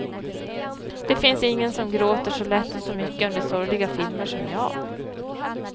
Det finns ingen som gråter så lätt och så mycket under sorgliga filmer som jag.